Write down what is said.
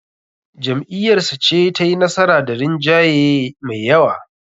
Jam'iyyarsa ce tayi nasara da rinjaye me yawa.